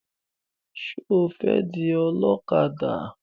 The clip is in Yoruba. Ṣé o fẹ́ di ọlọ́kadà?